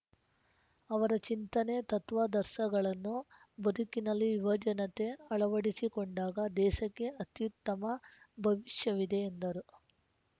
ಅವರ ಚಿಂತನೆತತ್ವಾದರ್ಸಗಳನ್ನು ಬದುಕಿನಲ್ಲಿ ಯುವಜನತೆ ಅಳವಡಿಸಿಕೊಂಡಾಗ ದೇಸಕ್ಕೆ ಅತ್ಯುತ್ತಮ ಭವಿಷ್ಯವಿದೆ ಎಂದರು